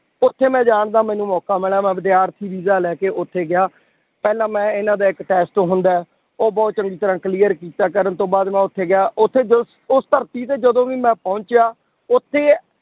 ਉੱਥੇ ਮੈਂ ਜਾਣਦਾ ਮੈਨੂੰ ਮੋਕਾ ਮਿਲਿਆ ਮੈਂ ਵਿਦਿਆਰਥੀ ਵੀਜ਼ਾ ਲੈ ਕੇ ਉੱਥੇ ਗਿਆ, ਪਹਿਲਾਂ ਮੈਂ ਇਹਨਾਂ ਦਾ ਇੱਕ test ਹੁੰਦਾ ਹੈ, ਉਹ ਬਹੁਤ ਚੰਗੀ ਤਰ੍ਹਾਂ clear ਕੀਤਾ, ਕਰਨ ਤੋਂ ਬਾਅਦ ਮੈਂ ਉੱਥੇ ਗਿਆ ਉੱਥੇ ਜੋ ਉਸ ਧਰਤੀ ਤੇ ਜਦੋਂ ਵੀ ਮੈਂ ਪਹੁੰਚਿਆ ਉੱਥੇ